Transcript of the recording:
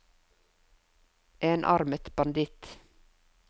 enarmet banditt